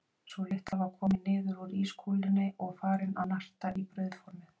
Sú litla var komin niður úr ískúlunni og farin að narta í brauðformið.